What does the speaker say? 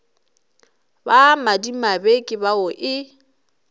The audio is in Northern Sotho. ba madimabe ke bao e